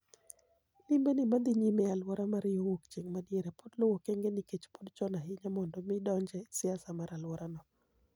Limbe ni madhi nyime e aluora mar yoo wuok chieng' madiere pod luwo okenge nikech pod chon ahinya mondo mi odonje siasa mar aluora no.